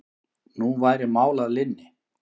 Nú væri mál að linni.